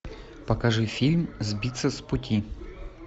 покажи фильм сбиться с пути